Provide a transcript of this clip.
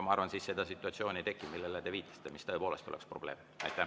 Ma arvan, et siis seda situatsiooni ei teki, millele te viitasite ja mis tõepoolest oleks probleem.